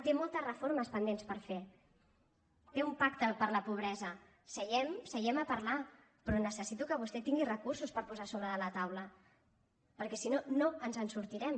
té moltes reformes pendents per fer té un pacte per la pobresa seiem se·iem a parlar però necessito que vostè tingui recursos per posar sobre de la taula perquè si no no ens en sortirem